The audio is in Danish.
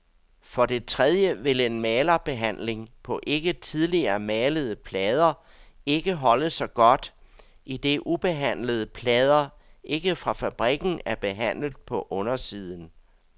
For det tredje vil en malerbehandling på ikke tidligere malede plader ikke holde så godt, idet ubehandlede plader ikke fra fabrikken er behandlet på undersiden.